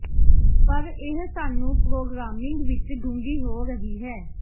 ਪਰ ਇਹ ਸਾਨੂੰ ਪ੍ਰੋਗ੍ਰਾਮਿੰਗ ਵਿੱਚ ਡੂੰਘੀ ਹੋ ਰਹੀ ਹੈ